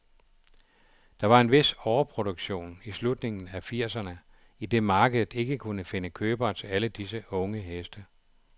Der var en vis overproduktion i slutningen af firserne, idet markedet ikke kunne finde købere til alle disse unge heste.